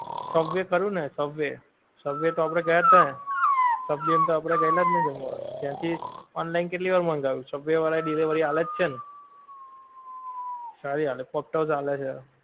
subway ખરું ને subway, subway તો આપડે ગયા થા, subway મેં તો આપડે ગયા થાજ ને જમવા, ત્યાંથી online કેટલી વાર મંગાયું છે, subway વાળા delivery આલેજ છે ને, સારી આલે પોપટોસ આલે છે